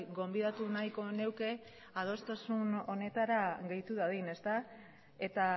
gonbidatu nahiko nuke adostasun honetara gehitu dadin eta